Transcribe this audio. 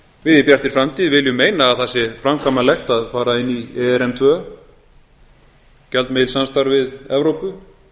við í bjartri framtíð viljum meina að það sé framkvæmanlegt að fara inn í erm tvö gjaldmiðilssamstarf við evrópu